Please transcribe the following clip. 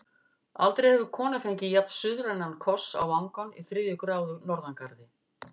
Aldrei hefur kona fengið jafn-suðrænan koss á vangann í þriðju gráðu norðangarði.